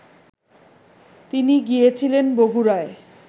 তিনি গিয়েছিলেন বগুড়ায়